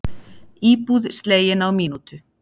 Íbúð slegin á mínútu